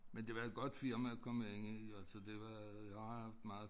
Men det var et godt firma at komme ind i altså det var jeg har haft meget